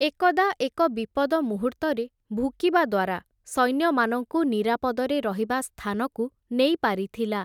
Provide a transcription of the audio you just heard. ଏକଦା, ଏକ ବିପଦ ମୂହୁର୍ତ୍ତରେ, ଭୁକିବା ଦ୍ଵାରା, ସୈନ୍ୟମାନଙ୍କୁ ନିରାପଦରେ ରହିବା ସ୍ଥାନକୁ ନେଇ ପାରିଥିଲା ।